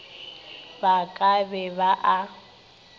ba ka be ba a